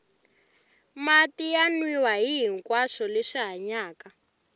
mati ya nwiwa hihinkwaswo leswi hanyaka